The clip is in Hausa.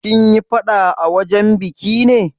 Kin yi faɗa a wajen biki ne?